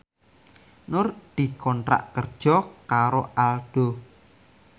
Nur dikontrak kerja karo Aldo